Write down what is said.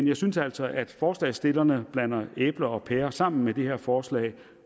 jeg synes altså at forslagstillerne blander æbler og pærer sammen med det her forslag